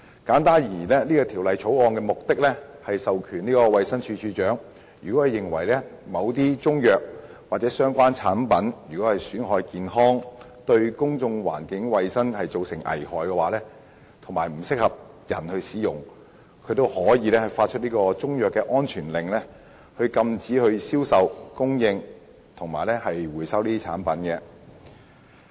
簡單而言，《條例草案》的目的是賦權衞生署署長，若認為某些中成藥或相關產品損害健康，對公眾環境衞生造成危害，以及不適合人體服用，就可以發出中藥安全令，禁止銷售及供應該等產品及回收該等產品。